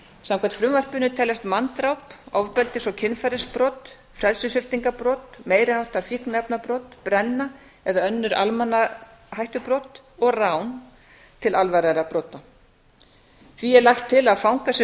samkvæmt frumvarpinu teljast manndráp ofbeldis og kynferðisbrot frelsissviptingarbrot meiri háttar fíkniefnabrot brenna eða önnur almannahættubrot og rán til alvarlegra brota þá er lagt til að fangar sem